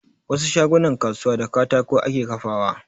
Wasu shagunan kasuwa da katako ake kafawa